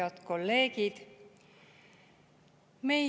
Head kolleegid!